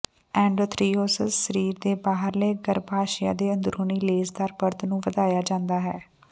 ਐਂਡੋਥ੍ਰੈਰੀਓਸਸ ਸਰੀਰ ਦੇ ਬਾਹਰਲੇ ਗਰੱਭਾਸ਼ਯ ਦੇ ਅੰਦਰੂਨੀ ਲੇਸਦਾਰ ਪਰਤ ਨੂੰ ਵਧਾਇਆ ਜਾਂਦਾ ਹੈ